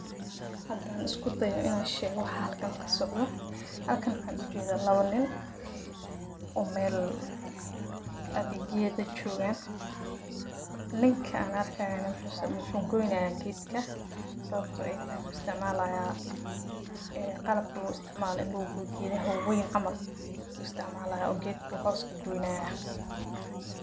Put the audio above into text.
Hadaan isku dayo inaan sheego wax xalkan qasabto. Xalkan ma ahan u jeeda labo nin, oo meel ged ayaad joogaan. Nink aan arkaan ama xubn sababo wuxuu goynaayaan gidinka. Sababtoo ah ay taagan isticmaalayaan ee qalab kala duwan isticmaali indhaha ugu yidhi wayn amal isticmaalaya oo gidiguu hooska goynaayaa.